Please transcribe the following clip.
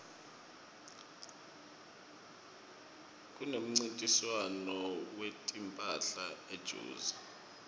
kunemncintiswano wetimphahla ejozi